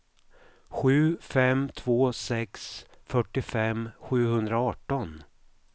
sju fem två sex fyrtiofem sjuhundraarton